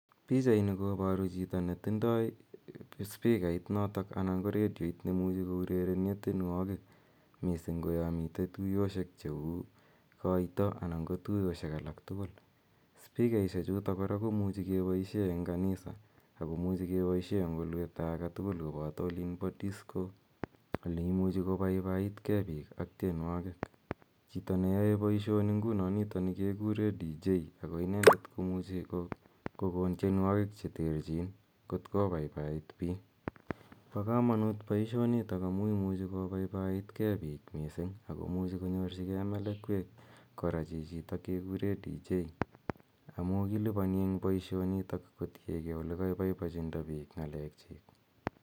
Pichaini koparu spikit notok anan ko redioit ne imuchi kourerene tienwogiik, missing' ko ya mitei tuyoshek che u koita ana ko tuyoshek alak tugul. Spikaishechuto kora komuchi kepaishe eng' kanisa ako muchi kepaishe eng' olepta age tugul kopata olin po disco, ole imuchi kopaipait ge piik ak tienwogiik. Chito neyae poishoni, nguno nitani kekure dj ako inendet komuchi kokon tienwogiik che terchin kot kopaipait piik. Po kamanuut missing' poishonitok amu imuchi kopaipaiit piik. Ako muchi konyorchigei melekwek chichitok kekure dj, amu kilipani eng' poishonito kotien gee ole kakashindaita piik ng'aleekchiik.